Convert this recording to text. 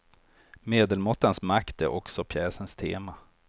Medelmåttans makt är också pjäsens tema.